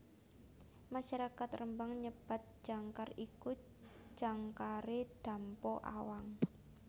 Masyarakat Rembang nyebat jangkar iku jangkare Dampo Awang